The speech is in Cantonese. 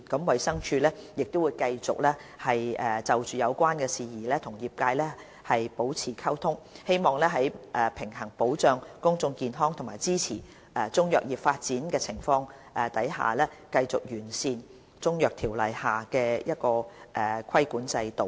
衞生署亦會繼續就有關事宜與業界保持溝通，希望在平衡保障公眾健康和支持中藥業發展之間，繼續完善《中醫藥條例》下的規管制度。